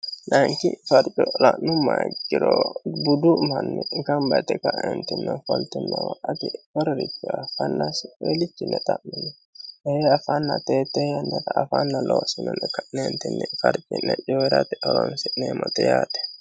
nanki farci la'nu mayi giro budu manni gambaixi ka'eentimne foltimmooma ati woririche afaannasi relichinne xa'minni yere afaanna teettee yannara afaanna loosinone ka'neentinni farci'ne cyirati holoonsi'neemmote yaate